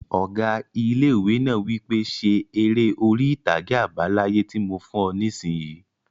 Ọgá ilé-ìwé náà wí pé 'Ṣe eré orí-ìtàgé àbá láyé tí mo fún ọ nisinyi!